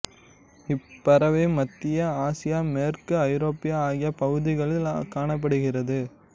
இப்பறவை மத்திய ஆசியா மேற்கு ஐரோப்பா ஆகிய பகுதிகளில் காணப்படுகிறது